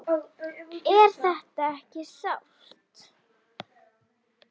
Er þetta ekki sárt?